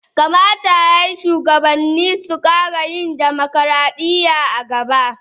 Kamata ya yi shugabanni su kara yin dimokradiyya a nan gaba.